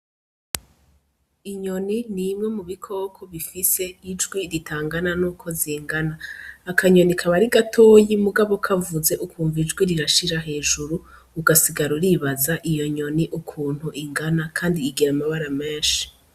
Inyoni n'imwe mu bikoko bifise ijwi ritangana nuko zingana, akanyoni kaba ari gatoyi mugabo kavuze ukumva ijwi rirashira hejuru ugasigara uribaza iyo nyoni ukuntu ingana, kandi igira amabara menshi.